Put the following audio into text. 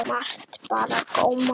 Margt bar á góma.